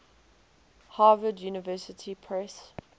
harvard university press